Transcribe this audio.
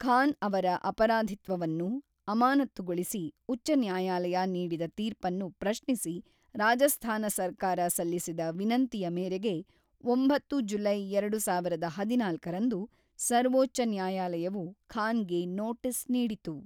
ಖಾನ್‌ ಅವರ ಅಪರಾಧಿತ್ವವನ್ನು ಅಮಾನತ್ತುಗೊಳಿಸಿ ಉಚ್ಚ ನ್ಯಾಯಾಲಯ ನೀಡಿದ ತೀರ್ಪನ್ನು ಪ್ರಶ್ನಿಸಿ ರಾಜಸ್ಥಾನ ಸರ್ಕಾರ ಸಲ್ಲಿಸಿದ ವಿನಂತಿಯ ಮೇರೆಗೆ ಒಂಬತ್ತು ಜುಲೈ ಎರಡು ಸಾವಿರದ ಹದಿನಾಲ್ಕರಂದು, ಸರ್ವೋಚ್ಚ ನ್ಯಾಯಾಲಯವು ಖಾನ್‌ಗೆ ನೋಟಿಸ್‌ ನೀಡಿತು.